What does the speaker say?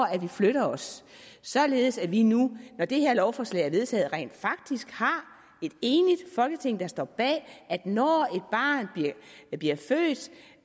at vi flytter os således at vi nu når det her lovforslag er vedtaget rent faktisk har et enigt folketing der står bag at når et barn bliver født